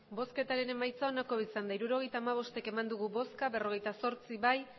emandako botoak hirurogeita hamabost bai berrogeita zortzi ez